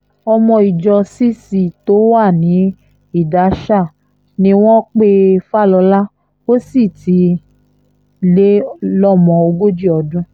ọmọ ìjọ cc tó wà ní ìdáṣà ni wọ́n pe falola ó sì ti lé lọ́mọ ogójì ọdún